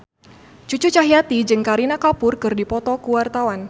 Cucu Cahyati jeung Kareena Kapoor keur dipoto ku wartawan